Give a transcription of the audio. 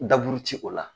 Daburu ti o la